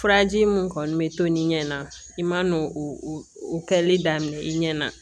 Furaji mun kɔni bɛ to ni ɲɛ na i man n'o kɛli daminɛ i ɲɛna